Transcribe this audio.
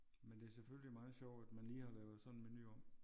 Men det er selvfølgelig meget sjovt at man lige har lavet sådan en menu om